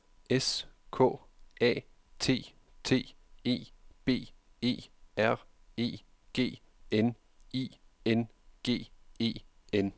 S K A T T E B E R E G N I N G E N